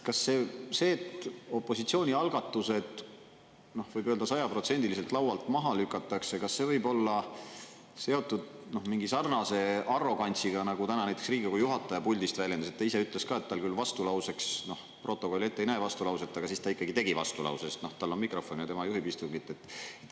Kas see, et opositsiooni algatused võib öelda sajaprotsendiliselt laualt maha lükatakse, kas see võib olla seotud mingi sarnase arrogantsiga nagu täna näiteks Riigikogu juhataja puldist väljendas, ta ise ütles ka, et tal küll vastulauseks, protokoll ette ei näe vastulauset, aga siis ta ikkagi tegi vastulause, sest tal on mikrofon ja tema juhib istungit.